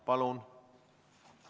Palun!